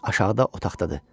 Aşağıda otaqdadır.